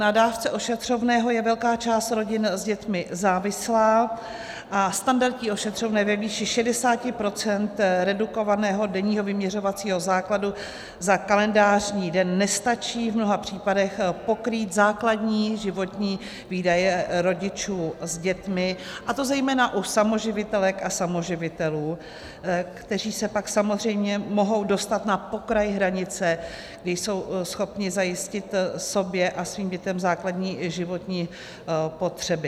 Na dávce ošetřovného je velká část rodin s dětmi závislá a standardní ošetřovné ve výši 60 % redukovaného denního vyměřovacího základu za kalendářní den nestačí v mnoha případech pokrýt základní životní výdaje rodičů s dětmi, a to zejména u samoživitelek a samoživitelů, kteří se pak samozřejmě mohou dostat na pokraj hranice, kdy jsou schopni zajistit sobě a svým dětem základní životní potřeby.